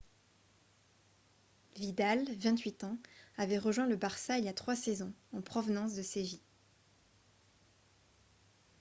vidal 28 ans avait rejoint le barça il y a trois saisons en provenance de séville